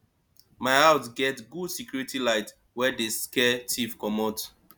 my house get good security light wey dey scare tiff comot